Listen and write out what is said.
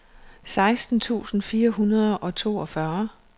seksten tusind fire hundrede og toogfyrre